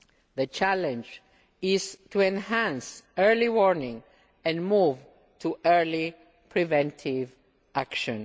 The challenge is to enhance early warning and move to early preventive action.